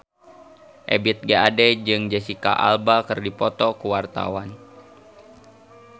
Ebith G. Ade jeung Jesicca Alba keur dipoto ku wartawan